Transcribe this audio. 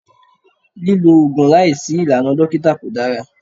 Lílo Ògùn láìsí ìlànà dókítà kò dára.